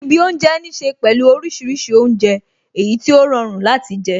Ibi oúnjẹ ní ṣe pẹ̀lú orísìírísìí oúnjẹ, èyí tí ó rọrùn láti jẹ